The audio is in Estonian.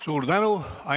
Suur tänu!